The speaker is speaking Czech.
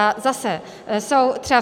A zase, jsou třeba...